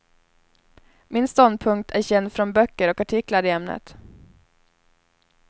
Min ståndpunkt är känd från böcker och artiklar i ämnet.